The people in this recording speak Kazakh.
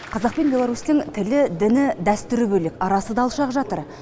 қазақ пен беларусьтың тілі діні дәстүрі бөлек арасы да алшақ жатыр